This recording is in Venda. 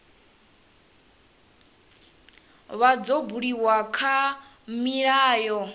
vha dzo buliwa kha milayo